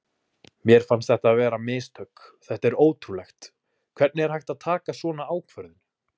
Mér fannst þetta vera mistök, þetta er ótrúlegt, hvernig er hægt að taka svona ákvörðun?